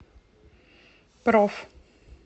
проф